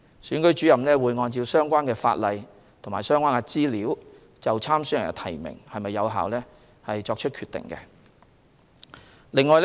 選舉主任會按相關法例和相關資料，就參選人的提名是否有效作出決定。